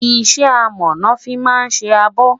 iṣẹ amo lọ fí má sé àbò